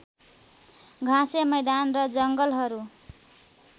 घाँसे मैदान र जङ्गलहरू